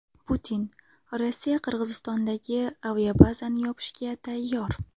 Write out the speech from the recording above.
Putin: Rossiya Qirg‘izistondagi aviabazani yopishga tayyor.